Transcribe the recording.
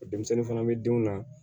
Denmisɛnnin fana bɛ denw na